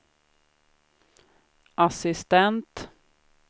assistent